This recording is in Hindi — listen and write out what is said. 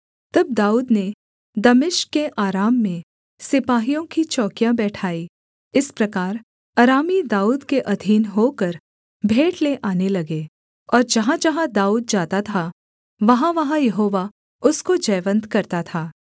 तब दाऊद ने दमिश्क के अराम में सिपाहियों की चौकियाँ बैठाईं इस प्रकार अरामी दाऊद के अधीन होकर भेंट ले आने लगे और जहाँजहाँ दाऊद जाता था वहाँवहाँ यहोवा उसको जयवन्त करता था